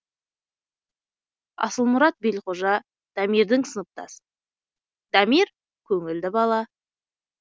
асылмұрат белқожа дамирдің сыныптасы дамир көңілді бала